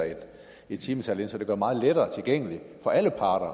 et timetal ind så det gør det meget lettere tilgængeligt for alle parter